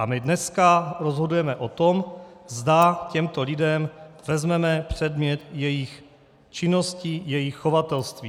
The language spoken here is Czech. A my dneska rozhodujeme o tom, zda těmto lidem vezmeme předmět jejich činnosti, jejich chovatelství.